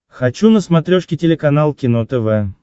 хочу на смотрешке телеканал кино тв